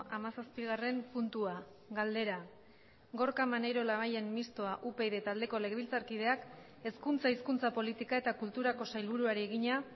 hamazazpigarren puntua galdera gorka maneiro labayen mistoa upyd taldeko legebiltzarkideak hezkuntza hizkuntza politika eta kulturako sailburuari egina